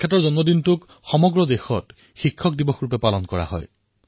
তেওঁৰ জন্ম জয়ন্তী সমগ্ৰ দেশতে শিক্ষক দিৱস হিচাপে পালন কৰা হয়